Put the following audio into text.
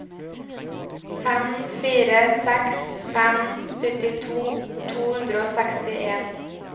fem fire seks fem syttito to hundre og sekstien